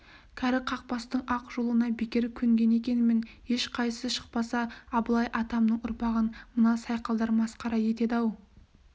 кәрі қақпастың ақ жолына бекер көнген екенмін ешқайсы шықпаса абылай атамның ұрпағын мына сайқалдар масқара етеді-ау